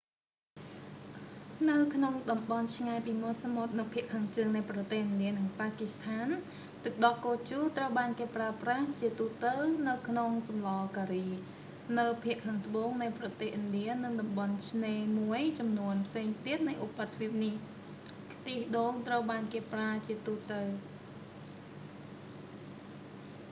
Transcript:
នៅក្នុងតំបន់ឆ្ងាយពីមាត់សមុទ្រនៅភាគខាងជើងនៃប្រទេស ឥណ្ឌា និង ប៉ាគីស្ថាន ទឹកដោះគោជូរត្រូវបានគេប្រើប្រាស់ជាទូទៅនៅក្នុងសម្លរការី នៅភាគខាងត្បូងនៃប្រទេសឥណ្ឌានិងតំបន់ឆ្នេរខមួយចំនួនផ្សេងទៀតនៃឧបទ្វីបនេះ ខ្ទិះដូងត្រូវបានគេប្រើជាទូទៅ